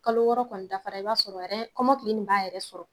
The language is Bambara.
Kalo wɔɔrɔ kɔni dafara i b'a sɔrɔ ɛrɛn kɔmɔkili nin b'a yɛrɛ sɔrɔ